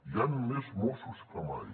hi han més mossos que mai